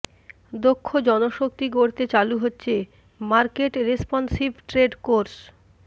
দক্ষ জনশক্তি গড়তে চালু হচ্ছে মার্কেট রেসপনসিভ ট্রেড কোর্স